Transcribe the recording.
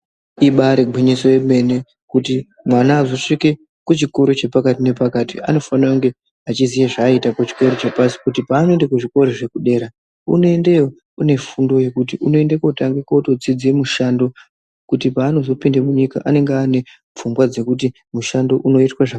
Ibari gwinyiso yemene kuti mwana azosvika kuchikora chepakati nepakati anofanira kunge achiziya zvaaiita kuchikora chepashi kuti paanoenda kuzvikora zvekudera, unoendeyo unefundo yekuti unoende kutotanga kutodzidze mushando kuti paanozopinda munyika unonga anefungwa dzekuti mushando unoitwa zvakadini.